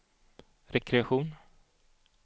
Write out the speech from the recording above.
rekreation